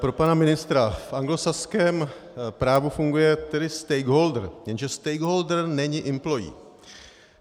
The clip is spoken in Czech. Pro pana ministra - v anglosaském právu funguje tedy stakeholder, jenže stakeholder není employee.